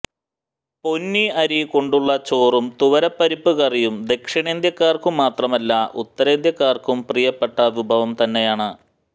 പൊന്നി അരി കൊണ്ടുള്ള ചോറും തുവര പരിപ്പു കറിയും ദക്ഷിണേന്ത്യക്കാര്ക്കു മാത്രമല്ല ഉത്തരേന്ത്യക്കാര്ക്കും പ്രിയപ്പെട്ട വിഭവം തന്നെയാണ്